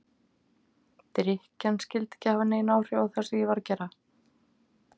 Drykkjan skyldi ekki hafa nein áhrif á það sem ég var að gera.